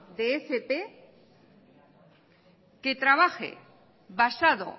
de fp que trabaje basado